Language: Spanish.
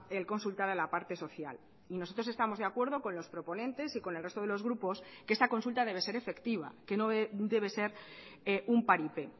el consultar a la parte social y nosotros estamos de acuerdo con los proponentes y con el resto de los grupos que esta consulta debe ser efectiva que no debe ser un paripé